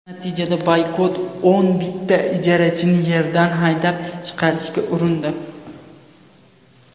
Natijada Boykot o‘n bitta ijarachini yerdan haydab chiqarishga urindi.